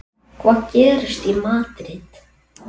Hvað gerist í Madríd?